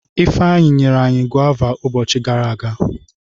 Ifeanyi nyere anyi gọva ubochi gara aga.